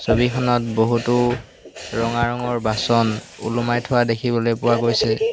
ছবিখনত বহুতো ৰঙা ৰঙৰ বাচন ওলোমাই থোৱা দেখিবলৈ পোৱা গৈছে।